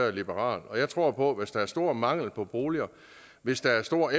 er liberal og jeg tror på at hvis der er stor mangel på boliger og hvis der er stor